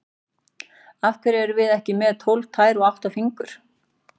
Af hverju erum við ekki með tólf tær eða átta fingur?